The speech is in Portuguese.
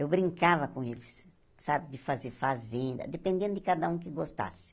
Eu brincava com eles, sabe, de fazer fazenda, dependendo de cada um que gostasse.